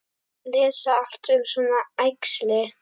Lesa allt um svona æxli?